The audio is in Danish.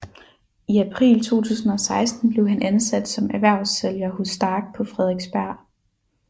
I april 2016 blev han ansat som erhvervssælger hos STARK på Frederiksberg